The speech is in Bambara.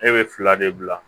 E be fila de bila